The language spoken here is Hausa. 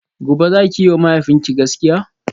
gobe zaki yiwa mahaifinki gaskiya?